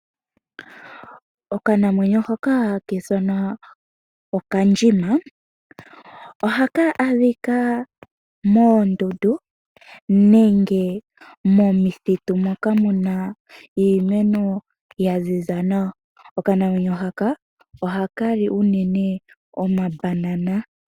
Okanamwenyo hoka haka ithanwa okandjima, ohaka adhika moondundu nenge momithitu moka muna iimeno yaziza nawa, okanamwenyo haka ohaka li unene omabanana.